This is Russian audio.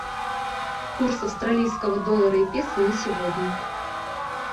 курс австралийского доллара и песо на сегодня